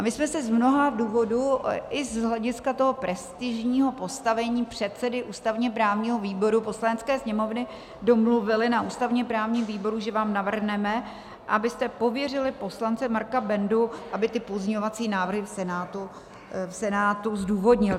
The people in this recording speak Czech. A my jsme se z mnoha důvodů, i z hlediska toho prestižního postavení předsedy ústavně-právního výboru Poslanecké sněmovny, domluvili na ústavně-právním výboru, že vám navrhneme, abyste pověřili poslance Marka Bendu, aby ty pozměňovací návrhy v Senátu zdůvodnil.